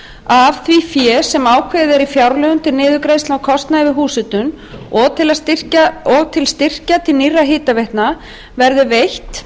af því fé sem ákveðið er í fjárlögum til niðurgreiðslna á kostnaði við húshitun og til að styrkja til nýrra hitaveitna verði veitt